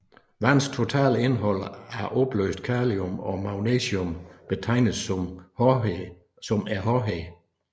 Vands totale indhold af opløst calcium og magnesium betegnes som hårdheden